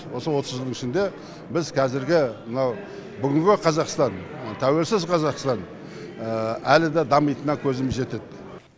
осы отыз жылдың біз қазіргі мынау бүгінгі қазақстан тәуелсіз қазақстан әлі де дамитынына көзім жетеді